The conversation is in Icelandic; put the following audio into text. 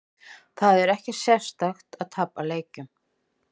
Það er ekkert sérstakt að tapa leikjum.